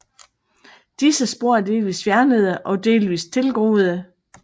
Disse spor er delvist fjernede og delvist tilgroede